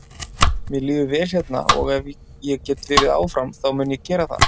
Mér líður vel hérna og ef ég get verið áfram þá mun ég gera það.